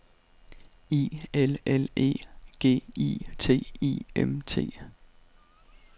I L L E G I T I M T